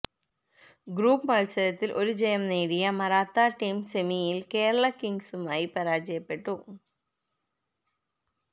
group മത്സരത്തില് ഒരു ജയം നേടിയ മറാത്ത ടീം സെമിയില് കേരള കേരള കിംഗ്സുമായി പരാജയപ്പെട്ടു